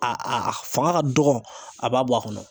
A a a fanga ka dɔgɔn a b'a bɔ a kɔnɔ.